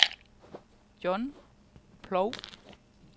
Jon Ploug